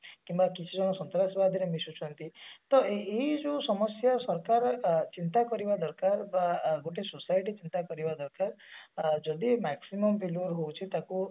କିମ୍ବା କିଛି ଜଣ ସନ୍ତ୍ରାସବାଦିରେ ମିଶୁଛନ୍ତି ତ ଏଇ ଯୋଉ ସମସ୍ଯା ସରକାର ଅ ଚିନ୍ତା କରିବା ଦରକାର ବା ଗୋଟେ society ଚିନ୍ତା କରିବା ଦରକାର ଅ ଯଦି maximum failure ହଉଛି ତାକୁ